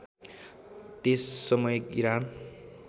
त्यस समय इरान